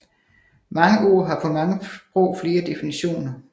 Mange ord har på mange sprog flere definitioner